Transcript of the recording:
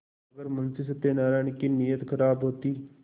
अगर मुंशी सत्यनाराण की नीयत खराब होती